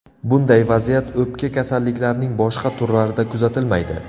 Bunday vaziyat o‘pka kasalliklarining boshqa turlarida kuzatilmaydi.